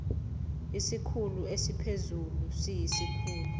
isikhulu esiphezulu siyisikhulu